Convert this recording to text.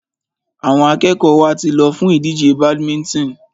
Àwọn akẹ́kọ̀ọ́ wa ti lọ fún ìdíje badminton.